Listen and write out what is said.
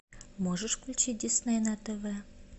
можешь включить дисней на тв